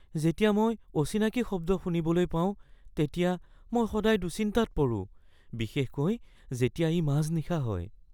যেতিয়া মই অচিনাকি শব্দ শুনিবলৈ পাওঁ তেতিয়া মই সদায় দুশ্চিন্তাত পৰোঁ, বিশেষকৈ যেতিয়া ই মাজনিশা হয়।